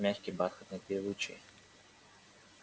мягкий бархатный певучий